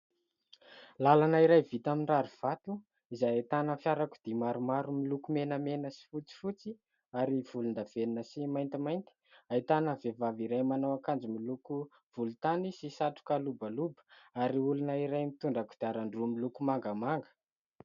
Làlana iray vita amin'ny rary vato, izay ahitana fiarakodia maromaro miloko menamena sy fotsifotsy ary volon-davenona sy maintimainty. Ahitana vehivavy iray manao akanjo miloko volontany sy satroka lobaloba, ary olona iray mitondra kodiaran-droa miloko mangamanga.